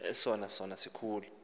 esona sono sikhulu